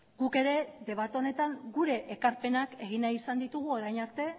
guk ere debate honetan gure ekarpenak egin nahi izan ditugu orain arte